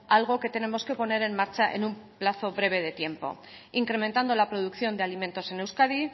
algo que tenemos que poner en marcha en un plazo breve de tiempo incrementando la producción de alimentos en euskadi